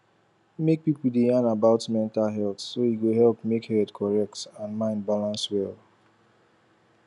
make people da yan about mental health so e go help make head correct and mind balance well